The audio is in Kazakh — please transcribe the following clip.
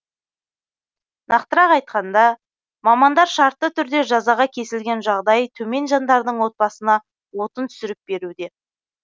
нақтырақ айтқанда мамандар шартты түрде жазаға кесілген жағдайы төмен жандардың отбасына отын түсіріп беруде